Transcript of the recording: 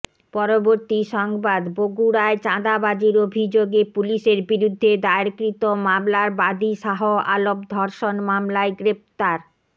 পরবর্তী সংবাদ বগুড়ায় চাঁদাবাজির অভিযোগে পুলিশের বিরুদ্ধে দায়েরকৃত মামলার বাদী শাহ আলম ধর্ষণ মামলায় গ্রেফতার